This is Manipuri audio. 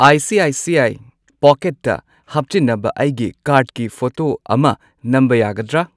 I C I C I ꯄꯣꯀꯦꯠꯇ ꯍꯥꯞꯆꯤꯟꯅꯕ ꯑꯩꯒꯤ ꯀꯥꯔꯗꯀꯤ ꯐꯣꯇꯣ ꯑꯃ ꯅꯝꯕ ꯌꯥꯒꯗ꯭ꯔꯥ?